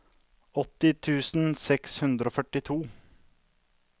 åtti tusen seks hundre og førtito